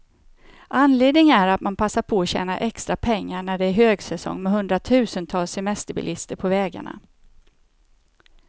Anledningen är att man passar på att tjäna extra pengar, när det är högsäsong med hundratusentals semesterbilister på vägarna.